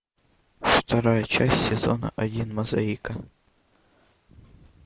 вторая часть сезона один мозаика